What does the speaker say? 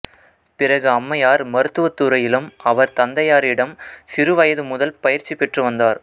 பிறகு அம்மையார் மருத்துவத் துறையிலும் அவர் தந்தையாரிடம் சிறு வயது முதல் பயிற்சிபெற்று வந்தார்